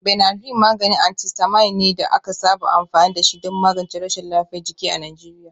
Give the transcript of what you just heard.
Benadryl maganin antihistamine ne da aka saba amfani da shi don magance rashin lafiyar jiki a Najeriya.